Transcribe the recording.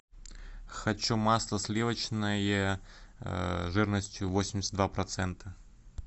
хочу масло сливочное жирностью восемьдесят два процента